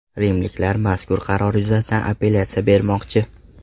Rimliklar mazkur qaror yuzasidan apellyatsiya bermoqchi.